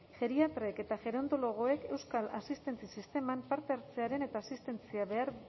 geriatrek eta gerontologoek euskal asistentzia sisteman parte hartzearen eta asistentzia behar